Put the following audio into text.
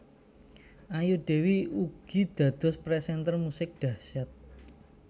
Ayu Dewi ugi dados presenter musik dahsyat